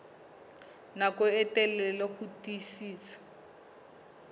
nako e telele ho tiisitse